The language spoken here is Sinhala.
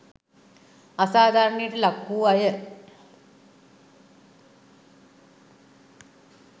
අසාධාරණයට ලක් වූ අය